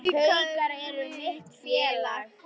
Haukar eru mitt félag.